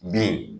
B